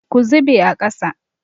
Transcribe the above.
Ku zube a ƙasa!